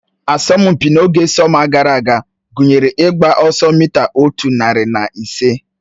Asọmpi n'oge sọma gara aga gụnyere ịgba ọsọ mita otu narị na ise